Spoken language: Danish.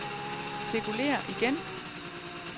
cirkulér igen